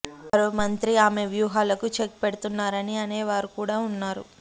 మరో మంత్రి ఆమె వ్యూహాలకు చెక్ పెడుతున్నారని అనే వారు కూడా ఉన్నారు